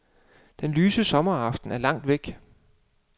Den lyse sommeraften er langt væk.